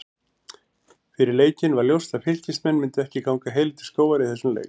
Fyrir leikinn var ljóst að Fylkismenn myndu ekki ganga heilir til skógar í þessum leik.